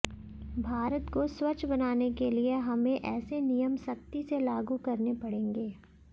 भारत को स्वच्छ बनाने के लिए हमें ऐसे नियम सख्ती से लागू करने पड़ेंगे